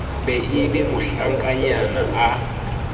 be e be mohlankanyana a